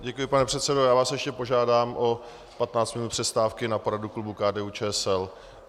Děkuji, pane předsedo, já vás ještě požádám o 15 minut přestávky na poradu klubu KDU-ČSL.